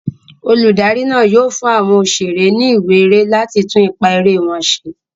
Olùdarí náà yóò fún àwọn òṣèré ní ìwé eré láti tún ipá eré wọn ṣe.